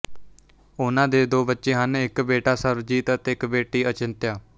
ਉਨ੍ਹਾਂ ਦੇ ਦੋ ਬੱਚੇ ਹਨ ਇੱਕ ਬੇਟਾ ਸਰਵਜੀਤ ਅਤੇ ਇੱਕ ਬੇਟੀ ਅਚਿੰਤਯ